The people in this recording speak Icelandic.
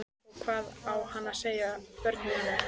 Og hvað á hann að segja börnunum?